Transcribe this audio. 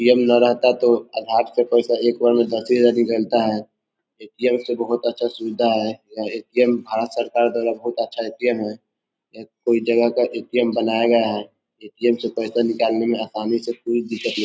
ATM. ना रहता तो आधार से एक बार में पैसा दसे हज़ार निकलता है ए.टी.एम. से बहुत अच्छा सुविधा है यह ए.टी.एम. भारत सरकार द्वारा बहुत अच्छा ए.टी.एम. है ये कोई जगह का ए.टी.एम. बनाया गया है ए.टी.एम. से पैसा निकालने में आसानी से कोई दिक्कत न --